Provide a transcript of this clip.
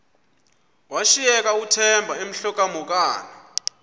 washiyeka uthemba emhokamhokana